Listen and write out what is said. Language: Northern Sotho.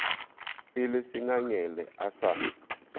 e le sengangele a sa